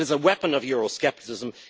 It is a weapon of euroscepticism.